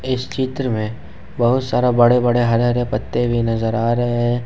इस चित्र में बहुत सारा बड़े बड़े हरे हरे पत्ते भी नजर आ रहे हैं।